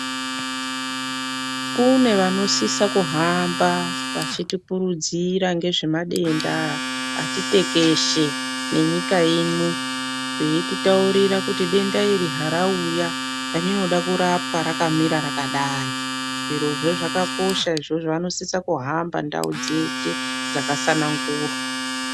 Kune vanosisa kuhamba vachitipurudzira ngezvemadenda ati tekeshe nenyika ino, veititaurira denda iri harauya rinoda kurapwa rakamira rakadai, zvakakosha izvozvo vanosisa ndau dzeshe dzakatsanangurwa.